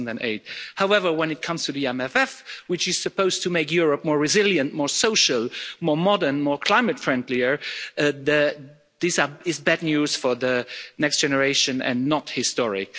2008. However, when it comes to the MFF, which is supposed to make Europe more resilient, more social, more modern and climate friendlier, this is bad news for the next generation and not historic.